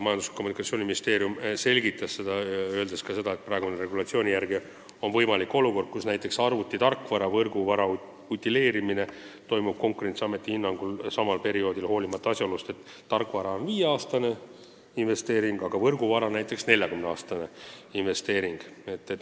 Majandus- ja Kommunikatsiooniministeeriumi esindaja selgitas seda, lisades ka, et praeguse regulatsiooni järgi on võimalik olukord, kus näiteks arvuti tarkvara ja võrguvara utileerimine toimub Konkurentsiameti hinnangul sama perioodi järel, hoolimata asjaolust, et tarkvara on viieaastane investeering, võrguvara aga näiteks 40-aastane investeering.